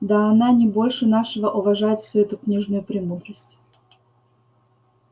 да она не больше нашего уважает всю эту книжную премудрость